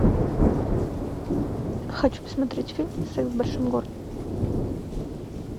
хочу посмотреть фильм секс в большом городе